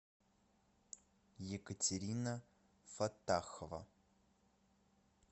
екатерина фатахова